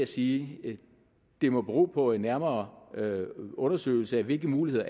sige at det må bero på en nærmere undersøgelse af hvilke muligheder